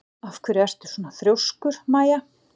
Af hverju ertu svona þrjóskur, Maia?